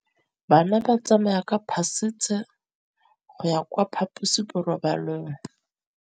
Bana ba tsamaya ka phašitshe go ya kwa phaposiborobalong.